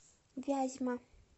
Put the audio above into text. вязьма